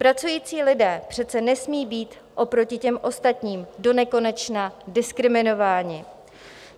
Pracující lidé přece nesmí být oproti těm ostatním donekonečna diskriminováni.